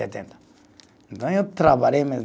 Setenta. Então, eu trabalhei mesmo.